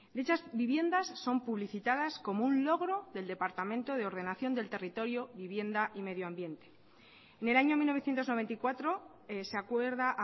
dichas viviendas son publicitadas como un logro del departamento de ordenación del territorio vivienda y medio ambiente en el año mil novecientos noventa y cuatro se acuerda